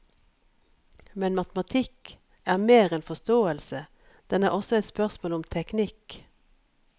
Men matematikk er mer enn forståelse, den er også et spørsmål om teknikk.